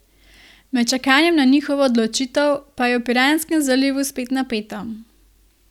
Med čakanjem na njihovo odločitev pa je v piranskem zalivu spet napeto.